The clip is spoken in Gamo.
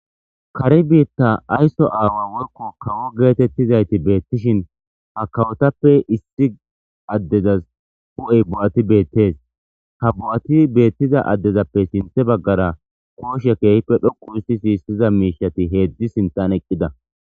Kare biita ayso aawa woykko kawo geetetizaytti beetishin ha kawotappe issi addezas hu7ey bo7ati beetees. Ha bo7ati beetiza addezape sinththe baggara kooshshe keehipe dhoqqu histiza miishshati heedzdzi sinththan eqqida.